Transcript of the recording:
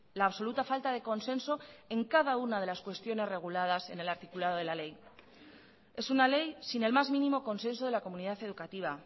la absoluta falta de consenso en cada una de las cuestiones reguladas en el articulado de la ley es una ley sin el más mínimo consenso de la comunidad educativa